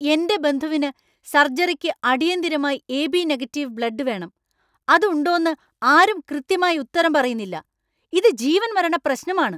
എന്‍റെ ബന്ധുവിന് സര്‍ജറിക്ക് അടിയന്തിരമായി എ.ബി. നെഗറ്റിവ് ബ്ലഡ്‌ വേണം, അത് ഉണ്ടോന്നു ആരും കൃത്യമായി ഉത്തരം പറയുന്നില്ല. ഇത് ജീവന്മരണ പ്രശ്നമാണ്!